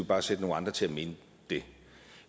bare sætte nogle andre til